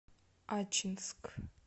ачинск